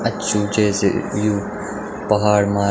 अछू जैसे यु पहाड़ मा।